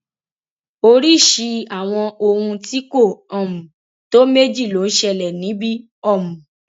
oríṣìí àwọn ohun tí kò um tó méjì ló ń ṣẹlẹ níbí um